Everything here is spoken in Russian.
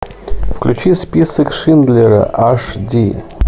включи список шиндлера аш ди